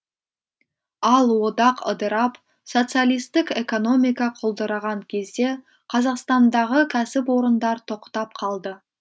ал одақ ыдырап социалистік экономика құлдыраған кезде қазақстандағы кәсіпорындар тоқтап қалды